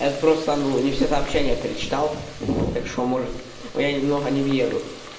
это просто ну не все сообщения перечитал так что может ну я немного не въеду